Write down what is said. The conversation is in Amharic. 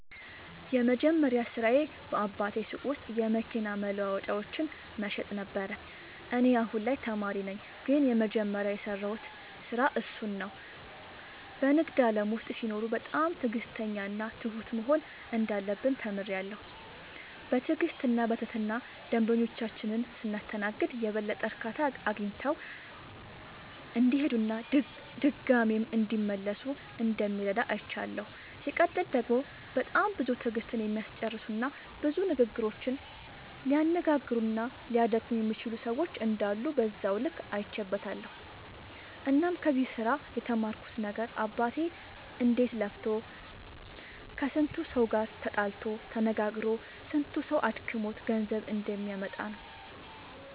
የመጀመሪያ ስራዬ በአባቴ ሱቅ ውስጥ የመኪና መለዋወጫዎችን መሸጥ ነበረ። እኔ አሁን ላይ ተማሪ ነኝ ግን የመጀመሪያ የሰራሁት ስራ እሱን ነው። በንግድ ዓለም ውስጥ ሲኖሩ በጣም ትዕግሥተኛና ትሁት መሆን እንዳለብን ተምሬያለሁ። በትዕግሥትና በትህትና ደንበኞቻችንን ስናስተናግድ የበለጠ እርካታ አግኝተው እንዲሄዱና ድጋሚም እንዲመለሱ እንደሚረዳ አይቻለሁ። ሲቀጥል ደግሞ በጣም ብዙ ትዕግሥትን የሚያስጨርሱና ብዙ ንግግሮችን ሊያነጋግሩና ሊያደክሙ የሚችሉ ሰዎች እንዳሉ በዛው ልክ አይቼበትበታለሁ። እናም ከዚህ ስራ የተማርኩት ነገር አባቴ እንዴት ለፍቶ ከስንቱ ሰው ጋር ተጣልቶ ተነጋግሮ ስንቱ ሰው አድክሞት ገንዘብ እንደሚያመጣ ነው።